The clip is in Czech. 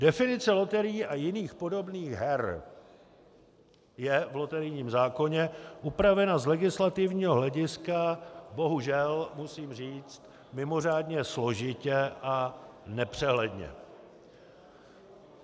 Definice loterií a jiných podobných her je v loterijním zákoně upravena z legislativního hlediska, bohužel, musím říct, mimořádně složitě a nepřehledně.